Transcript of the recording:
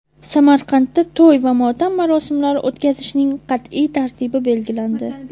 Samarqandda to‘y va motam marosimlari o‘tkazishning qat’iy tartibi belgilandi.